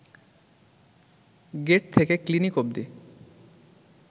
gate থেকে clinic অব্দি